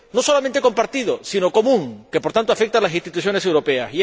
No solamente compartido, sino común, y que, por tanto, afecta a las instituciones europeas.